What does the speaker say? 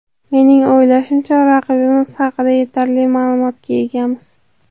Mening o‘ylashimcha, raqibimiz haqida yetarli ma’lumotga egamiz.